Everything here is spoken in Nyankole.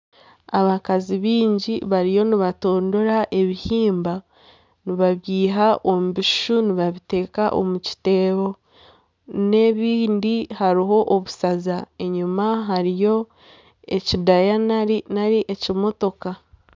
Abakazi bingi bariyo nibatondora ebihimba nibabyiha omu bishushu nibabiteka omu kiteebo n'ebindi hariho obushaza enyuma hariyo ekidayana nari ekimotooka.